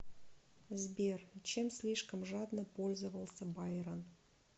сбер чем слишком жадно пользовался байрон